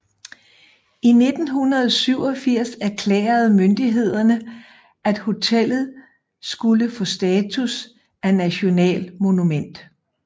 I 1987 erklærede myndighederne at hotellet skulle få status af nationalmonument